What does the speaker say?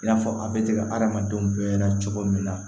I n'a fɔ a bɛ tigɛ adamadenw bɛɛ la cogo min na